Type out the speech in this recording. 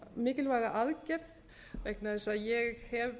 mikilvæga aðgerð vegna þess að ég hef